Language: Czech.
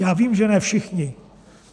Já vím, že ne všichni.